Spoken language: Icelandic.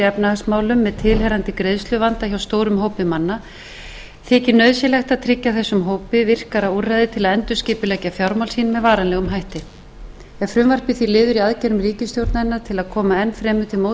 efnahagsmálum með tilheyrandi greiðsluvanda hjá stórum hópi manna þykir nauðsynlegt að tryggja þessum hópi virkari úrræði til þess að endurskipuleggja fjármál sín með varanlegum hætti er frumvarpið því liður í aðgerðum ríkisstjórnarinnar til að koma enn fremur til móts við fjárhagsvanda